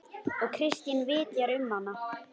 Og Kristín vitjar um hana.